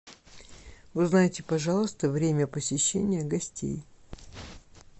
узнайте пожалуйста время посещения гостей